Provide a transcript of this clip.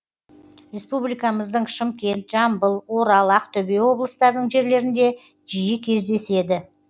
республикамыздың шымкент жамбыл орал ақтөбе облыстарының жерлерінде жиі кездеседі